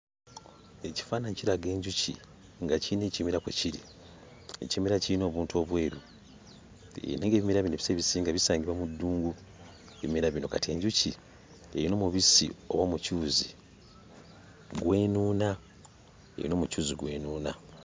Ekifaananyi kiraga enjuki nga kiyina ekimera kwe kiri. Ekimera kiyina obuntu obweru naye ng'ebimera bino ebiseera ebisinga bisangibwa mu ddungu; ebimera bino. Kati enjuki erina omubisi oba omukyuzi gw'enuuna; eyina omukyuzi gw'enuuna.